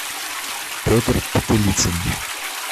петр потылицын